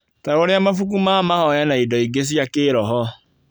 Ta ũrĩa mabuku ma mahoya, na indo ingĩ cia kĩroho.